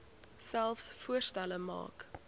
selfs voorstelle maak